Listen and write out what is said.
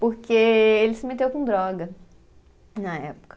Porque ele se meteu com droga na época.